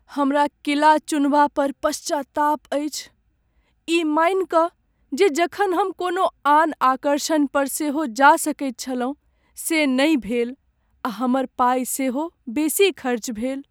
हमरा किला चुनबा पर पश्चाताप अछि, ई मानि कऽ जे जखन हम कोनो आन आकर्षण पर सेहो जा सकैत छलहुँ, से नहि भेल आ हमर पाइ सेहो बेसी खर्च भेल।